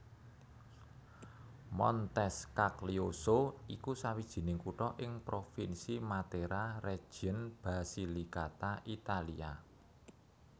Montescaglioso iku sawijining kutha ing Provinsi Matera region Basilicata Italia